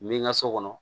Mi ka so kɔnɔ